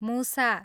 मुसा